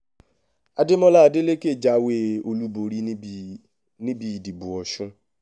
adémọlá adeleke jáwé olúborí níbi níbi ìdìbò ọ̀sun